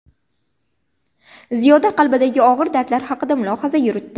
Ziyoda qalbdagi og‘ir dardlar haqida mulohaza yuritdi.